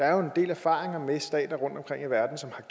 er jo en del erfaringer med stater rundtomkring i verden som